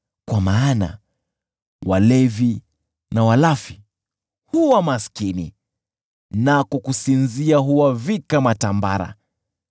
kwa maana walevi na walafi huwa maskini, nako kusinzia huwavika matambara.